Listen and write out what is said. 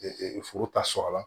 foro ta sɔrɔla